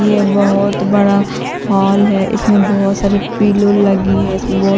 ये बहोत बड़ा हॉल है इसमें बहोत सारे पीलो लगी है इसमें बहोत सारे--